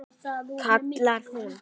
kallar hún.